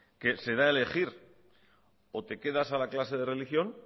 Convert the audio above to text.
que se da a elegir o te quedas a la clase de religión